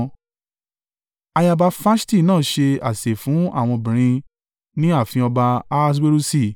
Ayaba Faṣti náà ṣe àsè fún àwọn obìnrin ní ààfin ọba Ahaswerusi.